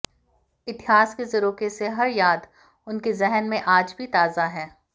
इतिहास के झरोखे से हर याद उनके जहन में आज भी ताजा है